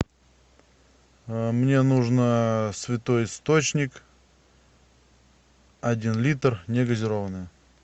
мне нужно святой источник один литр негазированная